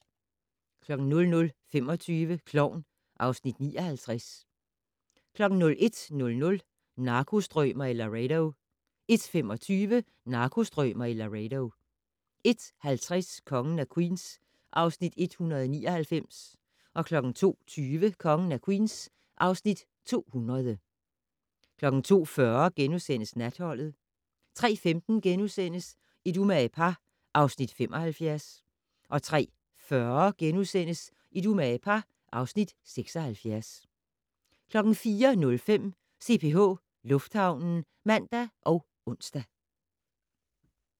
00:25: Klovn (Afs. 59) 01:00: Narkostrømer i Laredo 01:25: Narkostrømer i Laredo 01:50: Kongen af Queens (Afs. 199) 02:20: Kongen af Queens (Afs. 200) 02:40: Natholdet * 03:15: Et umage par (Afs. 75)* 03:40: Et umage par (Afs. 76)* 04:05: CPH Lufthavnen (man og ons)